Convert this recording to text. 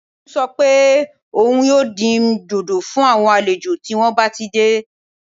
Tolú sọ pé òun yóò dín dòdò fún àwọn àlejò tí wọ́n bá ti dé